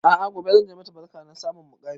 A'a gobe zanje mata barka na samun ƙarin muƙami